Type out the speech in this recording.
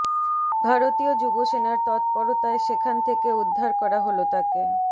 ভারতীয় যুবসেনার তৎপরতায় সেখান থেকে উদ্ধার করা হল তাকে